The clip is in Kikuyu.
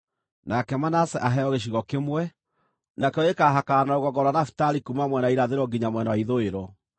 “Nake Manase aheo gĩcigo kĩmwe; nakĩo gĩkaahakana na rũgongo rwa Nafitali kuuma mwena wa irathĩro nginya mwena wa ithũĩro.